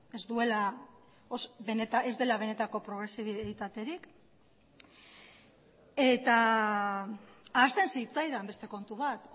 ez dela benetako progresibitaterik ahazten zitzaidan beste kontu bat